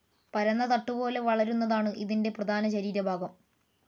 പരന്ന തട്ടുപോലെ വളരുന്നതാണ് ഇതിൻ്റെ പ്രധാന ശരീരഭാഗം.